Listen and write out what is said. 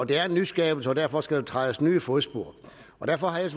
det er en nyskabelse og derfor skal der trædes nye fodspor og derfor har jeg